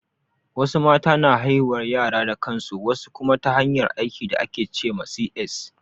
Wasu mata na haihuwar yara da kansu, wasu kuma ta hanyar aiki da ake ce ma C.S